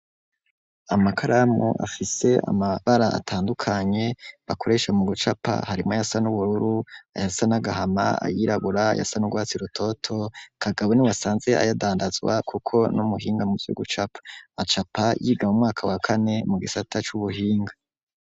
Amakaramu afise amabara atandukanye bakoresha mu bucapa harimo yasan'ubururu ayasa n'agahama ayiragura yasan'urwatsi rutoto kagabo ni wasanze ayadandazwa, kuko n'umuhinga mu vugucapa acapa yiga mu mwaka wa kane mu gisata c'ubuhinga.